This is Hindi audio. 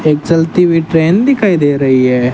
एक चलती हुई ट्रेन दिखाई दे रही है।